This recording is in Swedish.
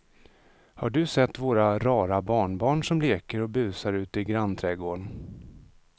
Har du sett våra rara barnbarn som leker och busar ute i grannträdgården!